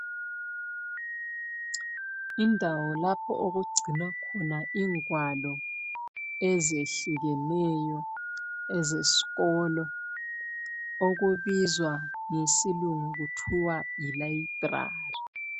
Indawo lapho okugcinwa khona ingwalo ezehlukeneyo ezesikolo okubizwa ngesilungu kuthiwa yi library.